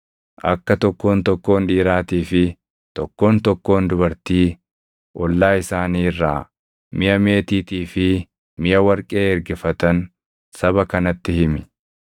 Akka tokkoon tokkoon dhiiraatii fi tokkoon tokkoon dubartii ollaa isaanii irraa miʼa meetiitii fi miʼa warqee ergifatan saba kanatti himi.”